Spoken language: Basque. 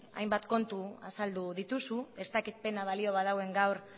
hainbat kontu azaldu dituzu ez dakit pena balio baduen gaur